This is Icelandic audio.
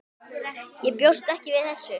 Ég bjóst ekki við þessu.